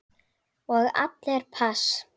Og allir pass.